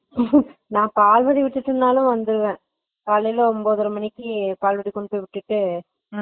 நா பாதரி வீட்டுக்கு நாலே வந்துருவே, காலைல ஒம்போதரை மணிக்கு college ல போய் விட்டிட்டு